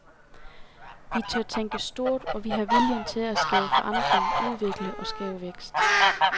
Vi tør tænke stort, og vi har viljen til at skabe forandring, udvikle og skabe vækst.